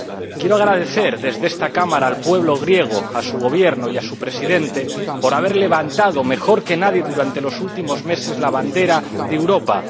Quiero agradecer desde esta Cámara al pueblo griego, a su Gobierno y a su Primer Ministro por haber levantado mejor que nadie durante los últimos meses la bandera de Europa.